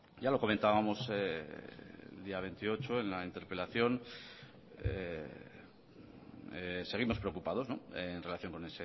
ya lo comentábamos el día veintiocho en la interpelación seguimos preocupados en relación con